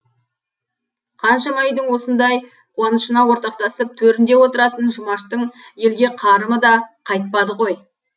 қаншама үйдің осындай қуанышына ортақтасып төрінде отыратын жұмаштың елге қарымы да қайтпады ғой